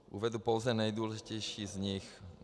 Uvedu pouze nejdůležitější z nich.